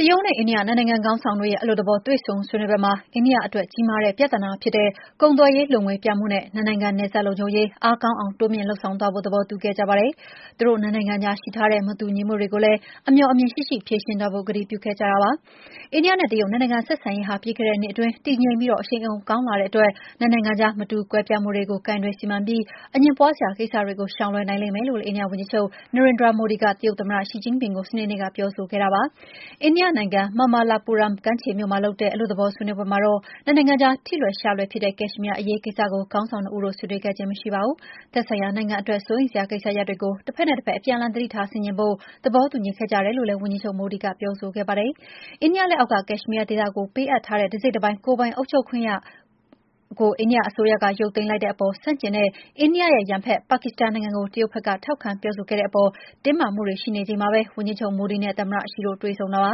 တရုတ်နဲ့ အိန္ဒိယ နှစ်နိုင်ငံခေါင်းဆောင်တွေရဲ့ အလွတ်သဘော တွေ့ဆုံဆွေးနွေးပွဲမှာ အိန္ဒိယအတွက် ကြီးမားတဲ့ပြဿနာဖြစ်တဲ့ ကုန်သွယ်ရေးလိုငွေပြမှုနဲ့ နှစ်နိုင်ငံ နယ်စပ်လုံခြုံရေး အားကောင်းအောင် တိုးမြှင့်လုပ်ဆောင်သွားဖို့ သဘောတူခဲ့ကြပါတယ်။ သူတို့နှစ်နိုင်ငံကြားရှိထားတဲ့ မတူညီမှုတွေကိုလည်း အမြော်အမြင်ရှိရှိ ဖြေရှင်းသွားဖို့ ကတိပြုခဲ့ကြပါတယ်။ အိန္ဒိယနဲ့ တရုတ် နှစ်နိုင်ငံဆက်ဆံရေးဟာ ပြီးခဲ့တဲ့နှစ်အတွင်း တည်ငြိမ်ပြီး အရှိန်အဟုန် ကောင်းလာခဲ့တဲ့အတွက် နှစ်နိုင်ငံကြား မတူကွဲပြားမှုတွေကို ကိုင်တွယ်စီမံပြီး အငြင်းပွားစရာ ကိစ္စတွေကို ရှောင်လွှဲနိုင်လိမ့်မယ်လို့ အိန္ဒိယဝန်ကြီးချုပ် Narendra Modi က တရုတ်သမ္မတ Xi Jinping ကို စနေနေ့က ပြောဆိုခဲ့ပါတယ်။ အိန္ဒိယနိုင်ငံ Mamallapuram ကမ်းခြေမြို့မှာလုပ်တဲ့ အလွတ်သဘော ဆွေးနွေးပွဲမှာတော့ နှစ်နိုင်ငံကြား ထိလွယ်ရှလွယ်ဖြစ်တဲ့ ကက်ရှ်မီးယားအရေးကိစ္စကို ခေါင်းဆောင်နှစ်ဦးတို့ ဆွေးနွေးခြင်းမရှိခဲ့ပါဘူး။ သက်ဆိုင်ရာနိုင်ငံအတွက် စိုးရိမ်စရာကိစ္စရပ်တွေကို တဖက်နဲ့တဖက် အပြန်အလှန် သတိထားဆင်ခြင်ဖို့ သဘောတူညီခဲ့ကြတယ်လို့လည်း ဝန်ကြီးချုပ် Modi က ပြောဆိုခဲ့ပါတယ်။ အိန္ဒိယလက်အောက်က ကက်ရှ်မီးယားဒေသကို ပေးအပ်ထားတဲ့ တစိတ်တပိုင်း ကိုယ်ပိုင်အုပ်ချုပ်ခွင့်ကို အိန္ဒိယအစိုးရက ရုပ်သိမ်းလို်က်တဲ့အပေါ် ဆန့်ကျင်တဲ့ အိန္ဒိယရဲ့ ရန်ဘက် ပါကစ္စတန်နိုင်ငံကို တရုတ်က ထောက်ခံပြောဆိုခဲ့တဲ့အပေါ် တင်းမာမှုတွေ ရှိနေချိန်မှာပဲ ဝန်ကြီးချုပ် Modi နဲ့ သမ္မတ Xi တို့ တွေ့ဆုံတာပါ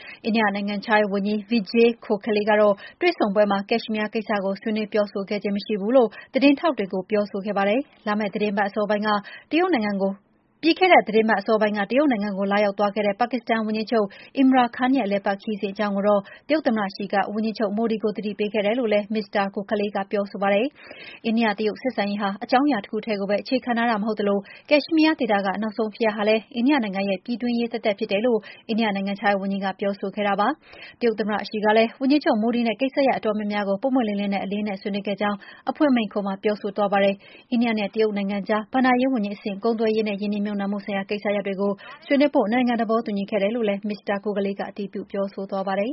။ အိန္ဒိယနိုင်ငံခြားရေးဝန်ကြီး Vijay Gokhale က တွေ့ဆုံပွဲမှာ ကက်ရှ်မီးယားကိစ္စကို ဆွေးနွေးပြောဆိုခဲ့ခြင်း မရှိဘူးလို့ သတင်းထောက်တွေကို ပြောဆိုခဲ့ပါတယ်။ ဒါပေမယ့်လည်း ဒီသီတင်းပတ်အစောပိုင်းက တရုတ်နိုင်ငံကို လာရောက်ခဲ့တဲ့ ပါကစ္စန်ဝန်ကြီးချုပ် Imran Khan ရဲ့ အလည်အပတ်ခရီးစဉ် အကြောင်းကိုတော့ တရုတ်သမ္မတ Xi က ဝန်ကြီးချုပ် Modi ကို အသိပေးခဲ့တယ်လို့ Mr. Gokhale က ဆိုပါတယ်။ အိန္ဒိယ-တရုတ် ဆက်ဆံရေးဟာ အကြောင်းအရာတခုတည်းကိုပဲ အခြေခံထားတာ မဟုတ်သလို ကက်ရှ်မီးယားဒေသက နောက်ဆုံးဖြစ်ရပ်ဟာလည်း အိန္ဒိယနိုင်ငံရဲ့ ပြည်တွင်းရေးသက်သက်ဖြစ်တယ်လို့ အိန္ဒိယနိုင်ငံခြားရေးဝန်ကြီး Gokhale က ပြောဆိုခဲ့ပါတယ်။ တရုတ်သမ္မတ Xi ကလည်း ဝန်ကြီးချုပ် Modi နဲ့ ကိစ္စရပ်အတော်များများကို ပွင့်ပွင့်လင်းလင်းနဲ့ အလေးအနက် ဆွေးနွေးခဲ့ကြောင်း အဖွင့်မိန့်ခွန်းမှာ ပြောဆိုသွားတယ်။ အသေးစိတ် အချက်အလက်တွေကိုတော့ ပြောမသွားပါဘူး။ တရုတ်နဲ့ အိန္ဒိယကြား ဘဏ္ဍာရေးဝန်ကြီးအဆင့် ကုန်သွယ်ရေးနဲ့ ရင်းနှီးမြှုပ်နှံမှုဆိုင်ရာ ကိစ္စရပ်တွေကို ဆွေးနွေးဖို့ နှစ်နိုင်ငံ သဘောတူညီခဲ့တယ်လို့လည်း Mr. Gokhale က အတည်ပြု ပြောဆိုသွားပါတယ်